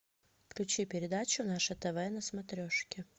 включи передачу наше тв на смотрешке